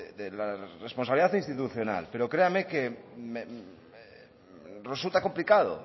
de la responsabilidad institucional pero créame que me resulta complicado